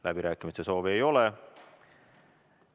Läbirääkimiste soovi ei ole.